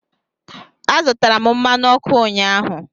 Azụtara m mmanụ ọkụ ụnyahụ.